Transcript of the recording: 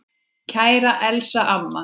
Kæra Elsa amma.